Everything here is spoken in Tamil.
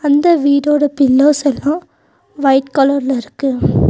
அந்த வீடோட பில்லர்ஸ் எல்லாம் வைட் கலர் ல இருக்கு.